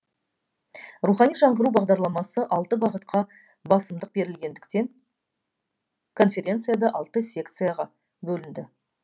рухани жаңғыру бағдарламасы алты бағытқа басымдық берілгендіктен конференция да алты секцияға бөлінді